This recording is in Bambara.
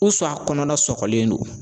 a kɔnɔna sɔgɔlen don